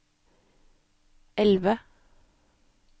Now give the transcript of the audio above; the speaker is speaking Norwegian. elve